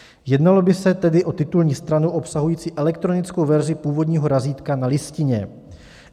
Jednalo by se tedy o titulní stranu obsahující elektronickou verzi původního razítka na listině.